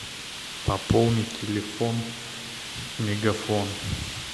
пополнить телефон мегафон